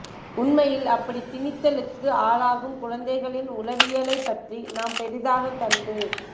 உண்மையில் அப்படித் திணித்தலுக்கு ஆளாகும் குழந்தைகளின் உளவியலைப் பற்றி நாம் பெரிதாகக் கண்டு